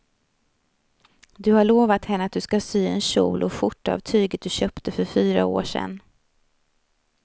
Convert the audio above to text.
Du har lovat henne att du ska sy en kjol och skjorta av tyget du köpte för fyra år sedan.